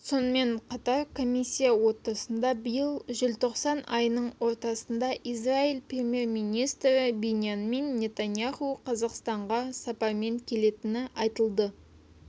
сонымен қатар комиссия отырысында биыл желтоқсан айының ортасында израиль премьер-министрі биньямин нетаньяху қазақстанға сапармен келетіні айтылды